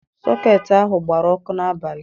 Sọketị ahụ gbara ọkụ n'abalị.